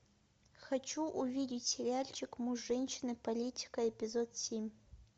хочу увидеть сериальчик муж женщины политика эпизод семь